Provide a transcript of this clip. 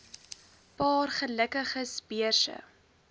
paar gelukkiges beurse